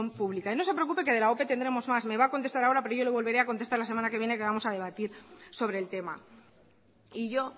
pública y no se preocupe que de la ope tendremos más me va a contestar ahora pero yo le volveré a contestar la semana que viene que vamos a debatir sobre el tema y yo